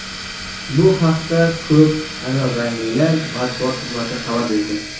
Bu haqda "ko‘k anorranglilar" matbuot xizmati xabar berdi.